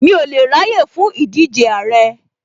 Mi ò lè ráyè fún ìdíje Àrẹ